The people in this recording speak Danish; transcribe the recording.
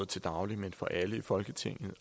til daglig men for alle i folketinget